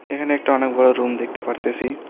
এখানে একটা অনেক বড় রুম দেখতে পারতেসি।